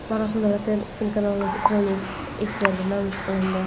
Marosim davlat telekanalida jonli efirda namoyish qilindi.